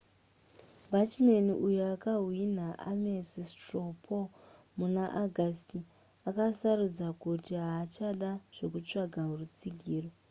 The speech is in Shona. bachmann uyo akahwina ames straw poll muna augusty akasarudza kuti haachada zvekutsvaga rutsigiro